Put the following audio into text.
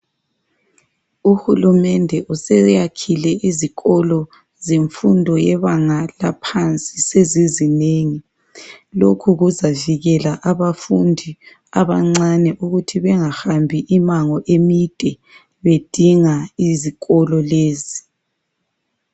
Uhulumende useyakhile izikolo zemfundo yebanga laphansi sezizinengi, lokhu kuzavikela abafundi abancane ukuthi bengahambi imango eminde bedinga izikolo lezi.